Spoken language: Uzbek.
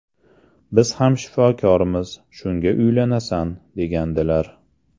Biz ham shifokormiz, shunga uylanasan’, degandilar.